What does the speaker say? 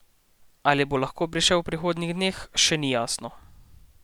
Ali bo lahko prišel v prihodnjih dneh, še ni jasno.